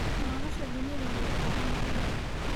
Nolosha dunidaa way koobantahy.